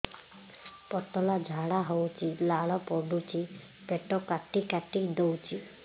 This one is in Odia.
ପତଳା ଝାଡା ହଉଛି ଲାଳ ପଡୁଛି ପେଟ କାଟି କାଟି ଦଉଚି